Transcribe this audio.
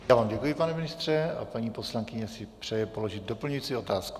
Já vám děkuji, pane ministře, a paní poslankyně si přeje položit doplňující otázku.